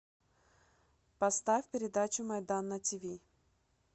поставь передачу майдан на тв